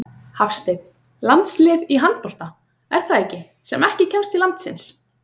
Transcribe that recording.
Hafsteinn: Landslið í handbolta, er það ekki, sem ekki kemst til landsins?